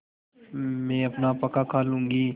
मैं अपना पकाखा लूँगी